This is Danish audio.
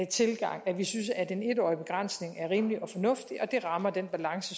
tilgang at vi synes at den en årige begrænsning er rimelig og fornuftig og det rammer den balance